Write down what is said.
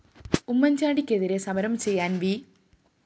ഉമ്മന്‍ചാണ്ടിക്കെതിരേ സമരം ചെയ്യാന്‍ വി